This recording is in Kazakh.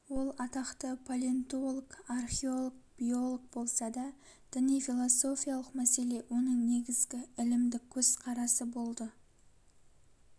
ол атақты палентолог археолог биолог болса да діни-философиялық мәселе оның негізгі ілімдік көзкарасы болды